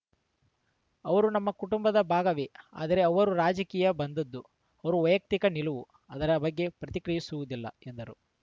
ಅವರು ನಮ್ಮ ಕುಟುಂಬದ ಭಾಗವೇ ಆದರೆ ಅವರು ರಾಜಕೀಯ ಬಂದದ್ದು ಅವರ ವೈಯಕ್ತಿಕ ನಿಲುವು ಅದರ ಬಗ್ಗೆ ಪ್ರತಿಕ್ರಿಯಿಸುವುದಿಲ್ಲ ಎಂದರು